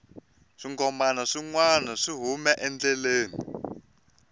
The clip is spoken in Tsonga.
swinghomana swi nwana swi hume endleleni